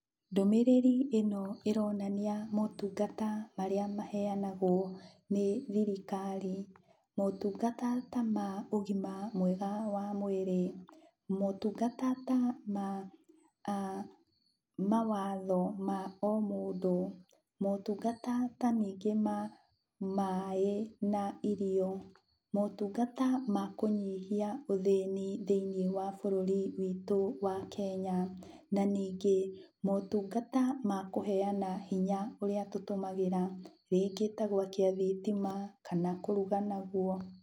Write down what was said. Ndũmĩrĩri ĩno ĩronania motungata marĩa maheanagwo nĩ thirikari. Motungata ta ma ũgima mwega wa mwĩrĩ, motungata ta ma mawatho ma o mũndũ, motungata ta ningĩ ma maĩ na irio, motungata ma kũnyihia ũthĩni thĩiniĩ wa bũrũri witũ wa Kenya, na ningĩ motungata ma kũheana hinya ũrĩa tũtũmagĩra rĩngĩ ta gwakia thitima kana kũruga naguo.